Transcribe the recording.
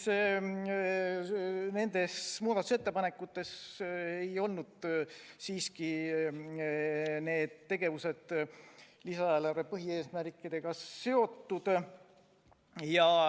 Seega need muudatusettepanekud ei olnud lisaeelarve põhieesmärkidega seotud.